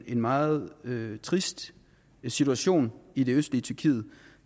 en meget trist situation i det østlige tyrkiet